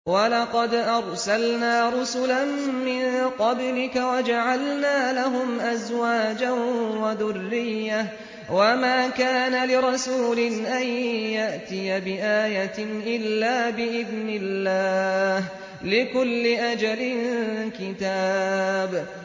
وَلَقَدْ أَرْسَلْنَا رُسُلًا مِّن قَبْلِكَ وَجَعَلْنَا لَهُمْ أَزْوَاجًا وَذُرِّيَّةً ۚ وَمَا كَانَ لِرَسُولٍ أَن يَأْتِيَ بِآيَةٍ إِلَّا بِإِذْنِ اللَّهِ ۗ لِكُلِّ أَجَلٍ كِتَابٌ